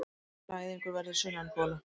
Næðingur verður sunnangola.